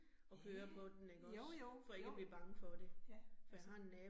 Ja ja, jo jo, jo, ja, ja